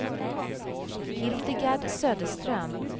Hildegard Söderström